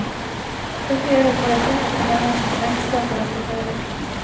Dette gjelder kvalitet på tjenesten, regnskap og rapportering.